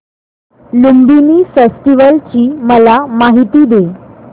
Lumbini festival ची मला माहिती दे